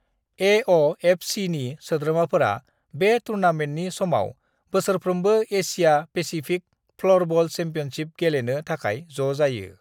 ए.अ.एफ़.सि.नि सोद्रोमाफोरा बे टुर्नामेन्टनि समाव बोसोरफ्रोमबो एशिया पेसिफिक फ्ल'रबल चेम्पियनशिप गेलेनो थाखाय ज' जायो।